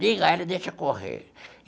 Liga ela e deixa correr.